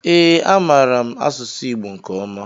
Ee, amaara m asụ Igbo nke ọma.